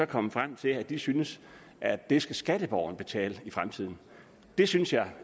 kommet frem til at de synes at det skal skatteborgerne betale i fremtiden det synes jeg